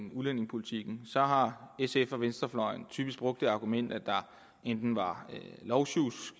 om udlændingepolitikken har sf og venstrefløjen typisk brugt det argument at der enten var lovsjusk